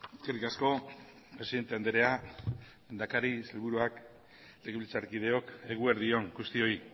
eskerrik asko presidente andrea lehendakari sailburuak legebiltzarkideok eguerdi on guztioi